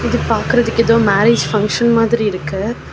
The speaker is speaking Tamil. பாக்குறதுக்கு ஏதோ மேரேஜ் பங்க்ஷன் மாதிரி இருக்கு.